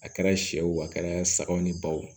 A kɛra sɛw a kɛra sagaw ni baw